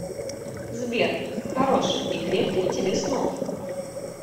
сбер хороших и крепких тебе снов